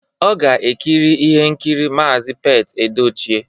Ọ ga-ekiri ihe nkiri Maazi Pete Edochie